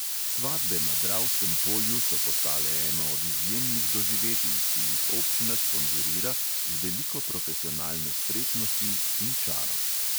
Svatbe na dravskem polju so postale eno od izjemnih doživetij, ki jih občina sponzorira z veliko profesionalne spretnosti in čara.